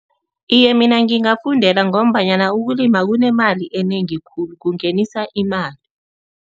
Iye, mina ngingafundela ngombanyana ukulima kunemali enengi khulu, kungenisa imali.